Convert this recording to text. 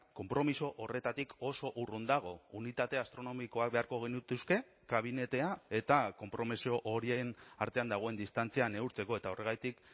konpromiso horretatik oso urrun dago unitate astronomikoak beharko genituzke kabinetea eta konpromiso horien artean dagoen distantzia neurtzeko eta horregatik